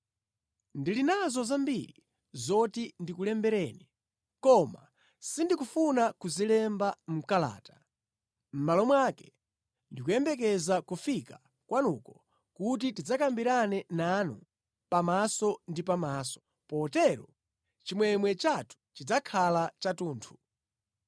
Ndili nazo zambiri zoti ndikulembereni, koma sindikufuna kuzilemba mʼkalata. Mʼmalo mwake, ndikuyembekeza kufika kwanuko kuti tidzakambirane nanu pamaso ndi pamaso, potero chimwemwe chathu chidzakhala chathunthu.